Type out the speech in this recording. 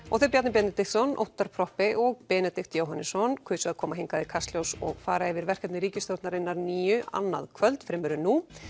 og þeir Bjarni Benediktsson Óttarr Proppé og Benedikt Jóhannesson kusu að koma hingað í Kastljós og fara yfir verkefni ríkisstjórnarinnar nýju annað kvöld fremur en nú